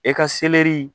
E ka selɛri